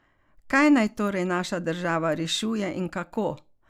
Kaj naj torej naša država rešuje in kako?